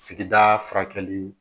Sigida furakɛli